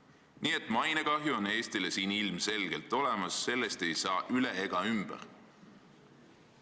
Nii et mainekahju on Eestile siin ilmselgelt olemas, sellest ei saa üle ega ümber.